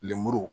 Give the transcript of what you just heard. Lemuru